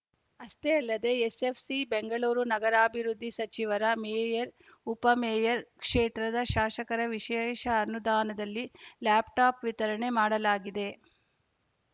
ಅಷ್ಟೇ ಅಲ್ಲದೇ ಎಸ್‌ಎಫ್‌ಸಿ ಬೆಂಗಳೂರು ನಗರಾಭಿವೃದ್ಧಿ ಸಚಿವರ ಮೇಯರ್‌ ಉಪ ಮೇಯರ್‌ ಕ್ಷೇತ್ರದ ಶಾಸಕರ ವಿಶೇಷ ಅನುದಾನದಲ್ಲಿ ಲ್ಯಾಪ್‌ಟಾಪ್‌ ವಿತರಣೆ ಮಾಡಲಾಗಿದೆ